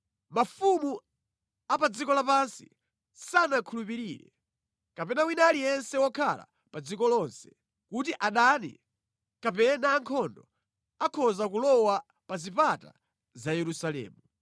Mafumu a pa dziko lapansi sanakhulupirire, kapena wina aliyense wokhala pa dziko lonse, kuti adani kapena ankhondo akhoza kulowa pa zipata za Yerusalemu.